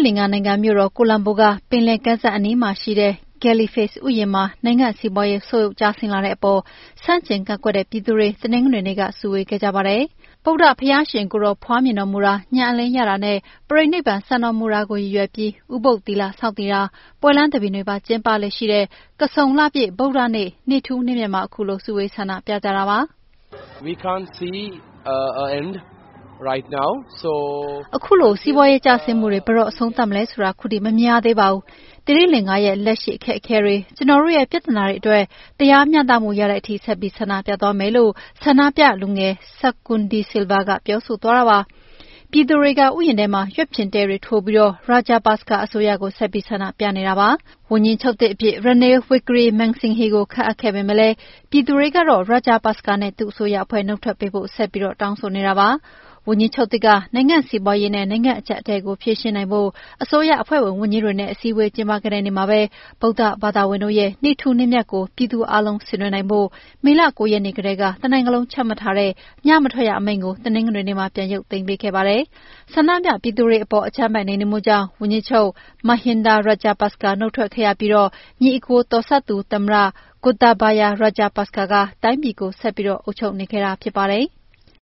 လင်္ကာနိုင်ငံ မြို့တော် ကိုလံဘိုက ပင်လယ်ကမ်းစပ်အနီးမှာရှိတဲ့ Galle Face ဥယျာဉ်မှာ နိုင်ငံစီးပွားရေး ဆုတ်ယုတ်ကျဆင်းလာတဲ့အပေါ် ဆန့်ကျင်ကန့်ကွက်တဲ့ ပြည်သူတွေ တနင်္ဂနွေနေ့က စုဝေးခဲ့ကြပါတယ်။ ဗုဒ္ဓဘုရားရှင်ကိုယ်တော် ဖွားမြင်တော်မူတာ၊ ဉာဏ်အလင်းရတာနဲ့ ပရိနိဗ္ဗာန် စံတော်မူတာကို ရည်ရွယ်ပြီး ဥပုသ်သီလ ဆောက်တည်တာ၊ ပွဲလမ်းသဘင်တွေပါ ကျင်းပလေ့ရှိတဲ့ ကဆုန်လပြည့် ဗုဒ္ဓနေ့ နေ့ထူးနေ့မြတ်မှာ ခုလို စုဝေး ဆန္ဒပြကြတာပါ။ “ခုလို စီးပွားရေးကျဆင်းမှုတွေ ဘယ်တော့အဆုံးသတ်မလဲဆိုတာ အခုထိ မမြင်ရသေးပါဘူး။ သီရိလင်္ကာရဲ့ လက်ရှိအခက်အခဲတွေ၊ ကျနော်တို့ရဲ့ ပြဿနာတွေအတွက် တရားမျှတမှုရတဲ့အထိ ဆက်ပြီး ဆန္ဒပြသွားမယ်။” လို့ ဆန္ဒပြလူငယ် SAKUN DE SILVA က ပြောဆိုသွားတာပါ။ ပြည်သူတွေက ဥယျာဉ်ထဲမှာ ရွက်ဖျင်တဲတွေထိုးပြီး Rajapaksa အစိုးရကို ဆက်ပြီး ဆန္ဒပြနေကြတာ ဖြစ်ပါတယ်။ ဝန်ကြီးချုပ်သစ်အဖြစ် Ranil Wickremesinghe ကို ခန့်အပ်ခဲ့ပေမဲ့လည်း ပြည်သူတွေကတော့ Rajapaksa နဲ့ သူ့အစိုးရအဖွဲ့ နုတ်ထွက်ပေးဖို့ ဆက်ပြီး တောင်းဆိုနေတာ ဖြစ်ပါတယ်။ ဝန်ကြီးချုပ်သစ် Wickremesinghe က နိုင်ငံစီးပွားရေးနဲ့ နိုင်ငံရေးအကျပ်အတည်းကို ဖြေရှင်းနိုင်ဖို့ အစိုးရအဖွဲ့ဝင် ဝန်ကြီးတွေနဲ့ အစည်းအဝေး ကျင်းပခဲ့တဲ့နေ့မှာပဲ ဗုဒ္ဓဘာသာဝင်တို့ရဲ့ နေ့ထူးနေ့မြတ်ကို ပြည်သူအားလုံး ဆင်နွှဲနိုင်ဖို့ မေလ ၉ ရက်နေ့ကတည်းက တနိုင်ငံလုံး ချမှတ်ထားတဲ့ ညမထွက်ရအမိန့်ကို တနင်္ဂနွေနေ့မှာ ပြန်ရုပ်ပေးခဲ့ပါတယ်။ ဆန္ဒပြပြည်သူတွေအေပေါ် အကြမ်းဖက်နှိမ်နင်းမှုကြောင့် ဝန်ကြီးချုပ် Mahinda Rajapaksa နုတ်ထွက်ခဲ့ရပြီး ညီအစ်ကိုတော်စပ်သူ သမ္မတ Gotabaya Rajapaksa က တိုင်းပြည်ကို ဆက်ပြီး အုပ်ချုပ်နေခဲ့တာ ဖြစ်ပါတယ်။